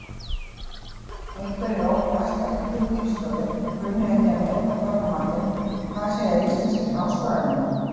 Einhverjir óttast að yngri kynslóðin kunni ekki að meta Þorramatinn en hvað segja íslenskir háskólanemar?